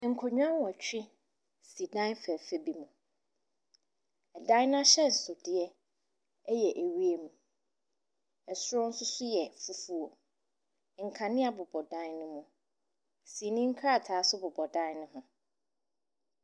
Nkonnwa nnɔtwe si dan fɛfɛɛ bi mu. Ɛdan n'ahyɛnsodeɛ ɛyɛ ɛwiem. Ɛsoro nso so yɛ fufuo. Nkanea bobɔ dan no mu. Sini nkrataa nso bobɔ dan no ho.